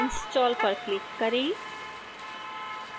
install पर click करें